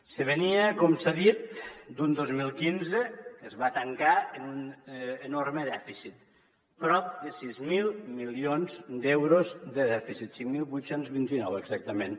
se venia com s’ha dit d’un dos mil quinze que es va tancar amb un enorme dèficit prop de sis mil milions d’euros de dèficit cinc mil vuit cents i vint nou exactament